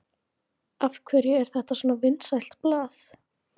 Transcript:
Magnús Hlynur Hreiðarsson: Af hverju er þetta svona vinsælt blað?